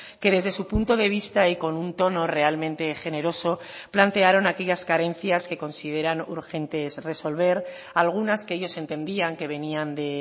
que desde su punto de vista y con un tono realmente generoso plantearon aquellas carencias que consideran urgentes resolver algunas que ellos entendían que venían de